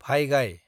भाइगाय